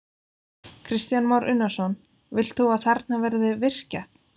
Kristján Már Unnarsson: Vilt þú að þarna verði virkjað?